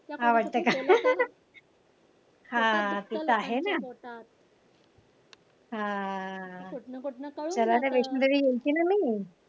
आवडत का हा ते तर आहे ना. त्याला ते वैष्णवदेवी यायचय का